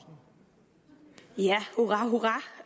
jeg